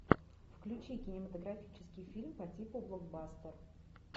включи кинематографический фильм по типу блокбастер